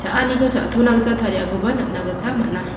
a·aniko cha·tonagita tariakoba nikna gita man·a.